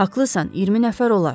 Haqlısan, 20 nəfər olar.